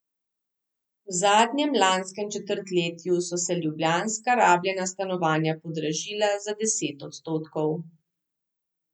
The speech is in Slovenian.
V zadnjem lanskem četrtletju so se ljubljanska rabljena stanovanja podražila za deset odstotkov.